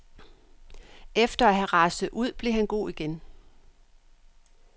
Efter at have raset ud blev han god igen.